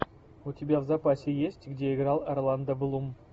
у тебя в запасе есть где играл орландо блум